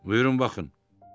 Buyurun baxın.